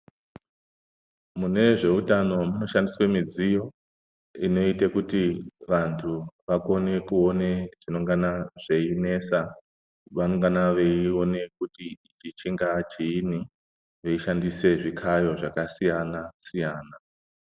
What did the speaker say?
Mune zveutano munoshandiswe midziyo inoite kuti vantu vakone kuone zvinongana zveinesa. Vanongana veione kuti chingaa chiini veishandisa zvikayo zvakasiyana-siyana.